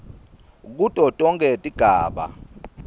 kuto tonkhe tigaba